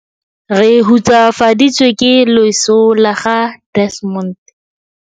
Re hutsafaditswe ke leso la ga Desmond.